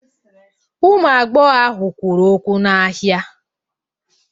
Ụmụ agbọghọ ahụ kwuru okwu n'ahịa.